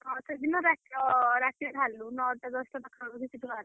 ହଁ ସେଦିନ ରାତ ଅ ରାତିରେ ବାହାରିଲୁ ନଅଟା ଦଶଟା ପାଖାପାଖି ସେଠୁ ବାହାରିଲୁ।